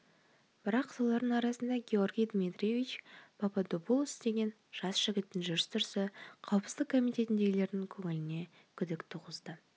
бірақ солардың арасында георгий дмитриевич пападопулос деген жас жігіттің жүріс-тұрысы қауіпсіздік комитетіндегілердің көңіліне күдік туғызды